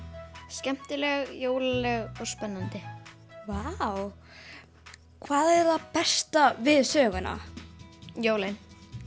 skemmtileg jólaleg og spennandi vá hvað er það besta við söguna jólin